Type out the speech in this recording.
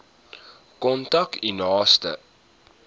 kontak u naaste